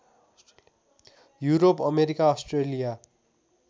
Europe America Australia